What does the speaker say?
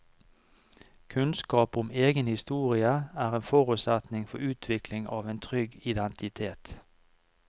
Kunnskap om egen historie er en forutsetning for utvikling av en trygg identitet.